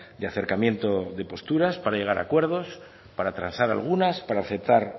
de acercamiento de posturas para llegar a acuerdos para transar algunas para aceptar